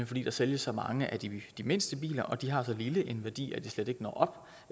fordi der sælges så mange af de mindste biler og de har så lille en værdi at de slet ikke når